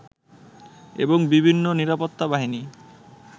এবং বিভিন্ন নিরাপত্তা বাহিনী